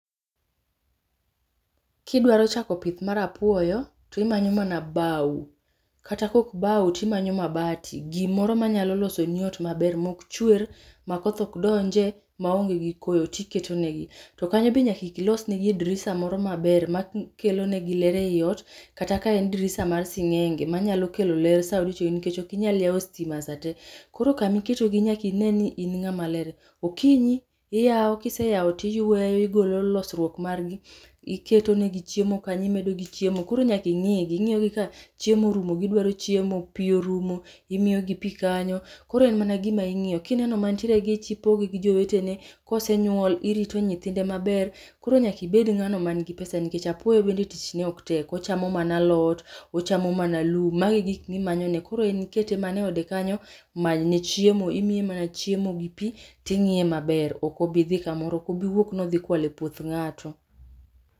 Kidwaro chako pith mar apuoyo to imanyo mana bao. Kata kaok bao to imanyo mabati, gimoro manyalo losoni ot maber maok chwer ma koth ok donje maonge gi koyo, to iketonegi. To kanyo be nyaka ilos negie dirisa moro maber ma kelonigi ler eiot kata ka en dirisa mar sing'enge manyalo kelo ler sama nikech ok inyal yawo sitima sate. Koro kama iketogi nyaka ineni in ng'ama ler. Okinyi iyawo kiseyawo to iyueyo igolo losruok margi. Iketo negi chiemo kanyo imedo chiemo, koro nyaka ing'igi, ing'iyo ka chiemo orumo gidwaro chiemo, pi orumo imiyo gi pi kanyo koro en mana en mana gima ing'iyo ka ineno mantiere gi ich, ipogogi gi jowetene, kosenyuol irito nyithinde maber. Koro nyaka ibed ng'ano man gi pesa nikech apuoyo bende tich ne ok tek, ochamo mana alot ochamo mana lum mago e gik mimanyone koro ikete mana eode kanyo many ne chiemo. Imiye mana chiemo gi pi to ing'iye maber ok obi dhi kamoro ok obi wuok ni odhi kwalo e puoth ng'ato.